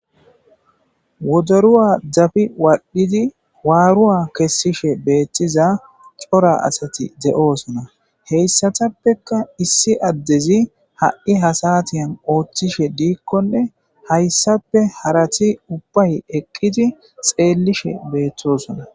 wodoruwa dabi waqdidi waaruwa kessishe beettiza cora asati de7osona heyssatappekka issi addezi ha7i hasatiyan ooththishe diikkonne hayssape harati ubbay eqqidi xeellishe beethtosona